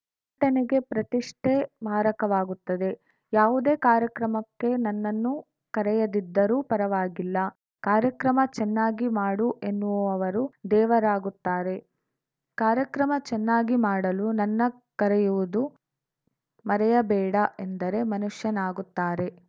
ಟನೆಗೆ ಪ್ರತಿಷ್ಠೆ ಮಾರಕವಾಗುತ್ತದೆ ಯಾವುದೇ ಕಾರ್ಯಕ್ರಮಕ್ಕೆ ನನ್ನನ್ನು ಕರೆಯದಿದ್ದರೂ ಪರವಾಗಿಲ್ಲ ಕಾರ್ಯಕ್ರಮ ಚೆನ್ನಾಗಿ ಮಾಡು ಎನ್ನುವವರು ದೇವರಾಗುತ್ತಾರೆ ಕಾರ್ಯಕ್ರಮ ಚೆನ್ನಾಗಿ ಮಾಡಲು ನನ್ನ ಕರೆಯುವುದು ಮರೆಯಬೇಡ ಎಂದರೆ ಮನುಷ್ಯನಾಗುತ್ತಾರೆ